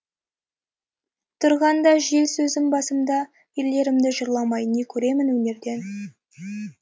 тұрғанда жел сөз басымда ерлерімді жырламай не көремін өнерден